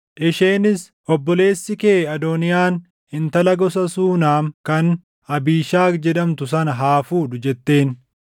Isheenis, “Obboleessi kee Adooniyaan intala gosa Suunam kan Abiishagi jedhamtu sana haa fuudhu” jetteen.